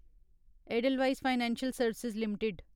Edelweiss financial service limited